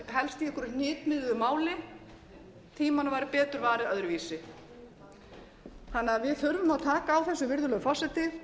einhverju hnitmiðuðu máli tímanum væri betur farið öðruvísi við þurfum að taka á þessu virðulegur forseti